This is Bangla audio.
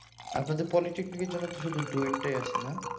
আপনাদের পলিটেকনিক এর জন্য শুধু ডুয়েট টাই আছে না